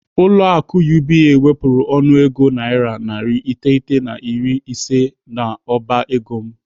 Ụlọ akụ UBA wepụrụ ọnụego naira narị iteghete na iri ise n'ọba ego m.